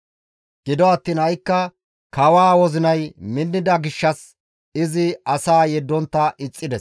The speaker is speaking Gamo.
Gido attiin ha7ikka kawaa wozinay minnida gishshas izi asaa yeddontta ixxides.